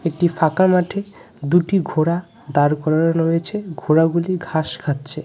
একটি ফাঁকা মাঠে দুটি ঘোড়া দাঁড় করানো রয়েছে ঘোড়াগুলি ঘাস খাচ্ছে.